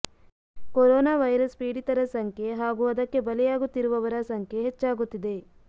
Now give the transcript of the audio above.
corona virus ಪೀಡಿತರ ಸಂಖ್ಯೆ ಹಾಗೂ ಅದಕ್ಕೆ ಬಲಿಯಾಗುತ್ತಿರುವವರ ಸಂಖ್ಯೆ ಹೆಚ್ಚಾಗುತ್ತಿದೆ